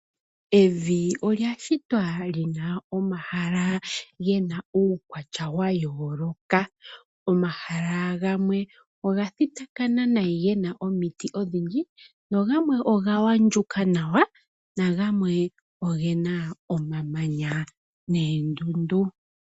Evi olya shitwa lina omahala gena uukwatya wa yooloka . Omahala gamwe oga thitakana nai gena omiti odhindji no gamwe oga andjuka nawa na gamwe ogena omamanya neendundu.